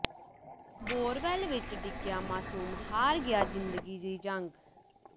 borewell ਵਿਚ ਡਿੱਗਿਆ ਮਾਸੂਮ ਹਾਰ ਗਿਆ ਜ਼ਿੰਦਗੀ ਦੀ ਜੰਗ